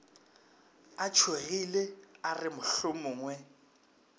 a tšhogile a re mohlomongwe